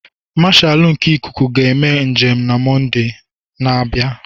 Marshalu nke Ịkụku ga-eme njem na Mọnde na-abịa.